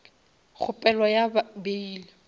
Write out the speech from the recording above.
kgopelo ya bail